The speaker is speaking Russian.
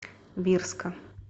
бирска